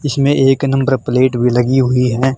इसमें एक number plate भी लगी हुई है।